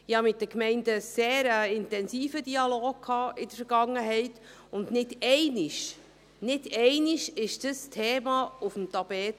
Ich hatte mit den Gemeinden in der Vergangenheit einen sehr intensiven Dialog, und nicht einmal dann kam dieses Thema aufs Tapet.